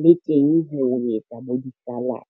le teng ho etsa bo di-salad.